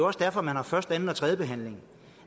også derfor at man har første anden og tredje behandling